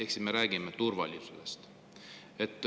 Ehk siis me räägime turvalisusest.